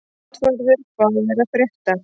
Játvarður, hvað er að frétta?